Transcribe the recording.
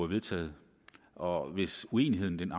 vedtaget og hvis uenigheden